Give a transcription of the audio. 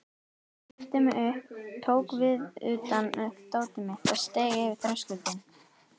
Ég herti mig upp, tók viðutan upp dótið mitt og steig yfir þröskuldinn.